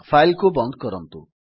file କୁ ବନ୍ଦ କରନ୍ତୁ